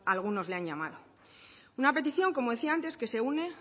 algunos le han llamado una petición como decía antes que se une